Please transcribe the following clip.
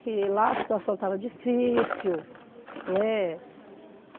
Que lá a situação estava difícil, né?